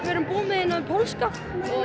við erum búinn með þennan pólska og